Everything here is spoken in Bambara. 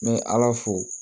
N bɛ ala fo